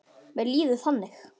Mér líður þannig.